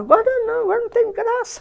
Agora não, agora não tem graça.